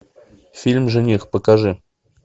фильм жених покажи